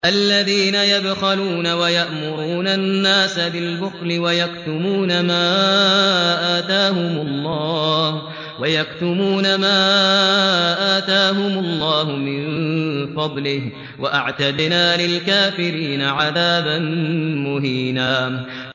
الَّذِينَ يَبْخَلُونَ وَيَأْمُرُونَ النَّاسَ بِالْبُخْلِ وَيَكْتُمُونَ مَا آتَاهُمُ اللَّهُ مِن فَضْلِهِ ۗ وَأَعْتَدْنَا لِلْكَافِرِينَ عَذَابًا مُّهِينًا